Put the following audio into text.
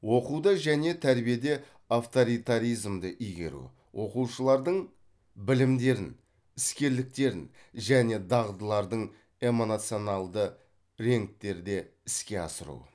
оқуда және тәрбиеде авторитаризмді игеру оқушылардың білімдерін іскерліктерін және дағдылардың реңктерде іске асыру